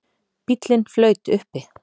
Bíllinn flaut uppi